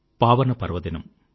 పావన పర్వదినం